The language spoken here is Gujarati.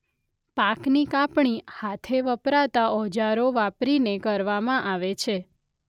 પાકની કાપણી હાથે વપરાતા ઓજારો વાપરીને કરવામાં આવે છે.